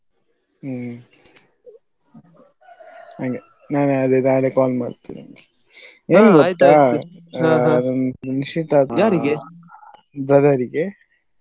ಹ್ಮ್ ಹಂಗೆ ನಾನೇ ಆದ್ರೆ ನಾಳೆ call ಮಾಡ್ತೇನೆ ನಿಂಗೆ ಒಂದು ನಿಶ್ಚಿತಾರ್ಥ brother ರಿಗೆ.